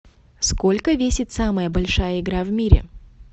сколько весит самая большая игра в мире